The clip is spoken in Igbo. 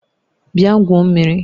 Bịa gwuo mmiri!